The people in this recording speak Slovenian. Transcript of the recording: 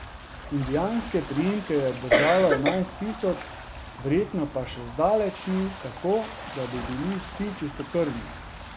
Indijanske priimke jih je obdržalo enajst tisoč, verjetno pa še zdaleč ni tako, da bi bili vsi čistokrvni.